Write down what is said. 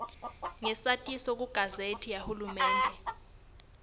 ngesatiso kugazethi yahulumende